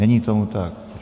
Není tomu tak.